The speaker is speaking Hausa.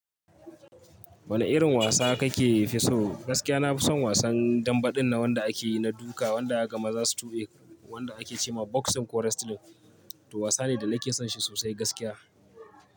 Wane irin wasa kake fi so? Gaskiya na fi son wasan dambe ɗin na wanda ake yi na duka wanda zakaga ga maza su tube, wanda ake ce ma boxing ko wrestling. To wasa ne da na ke son shi sosai gaskiya.